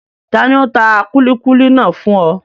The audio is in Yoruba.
Tani ó tà kúlíkúlí náà fún ọ?